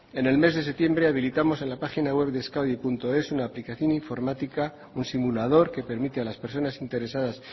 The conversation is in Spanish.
en el mes de septiembre habilitamos en la página web de euskadies una aplicación informática un simulador que permite a las personas interesadas